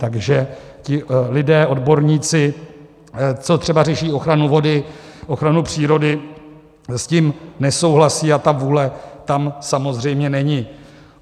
Takže ti lidé, odborníci, co třeba řeší ochranu vody, ochranu přírody, s tím nesouhlasí a ta vůle tam samozřejmě není.